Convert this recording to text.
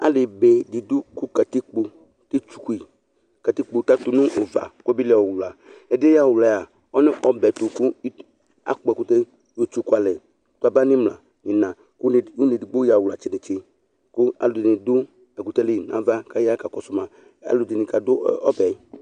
ali be dɩ dʊ kʊ katikpo atsuku yi, katikpo edigbo atʊ nʊ ʊva kʊ abeli ɣa ʊwla, ɛdɩ yɛ kʊ ɔya ɣa ʊwla yɛ ɔlɛ ɔbɛtʊ kʊ akpɔ ɛkʊtɛ kʊ etsuku alɛ, kaba n'imla n'ina, kʊ une edigbo ya ɣa uwlatsɛ netse, kʊ alʊɛdɩnɩ dʊ ɛkʊtɛ yɛ li n'ava, kʊ aya kakɔsʊ ma, alʊɛdɩnɩ kadʊ ɛfɛ